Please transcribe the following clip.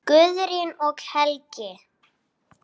Guðrún og Helgi.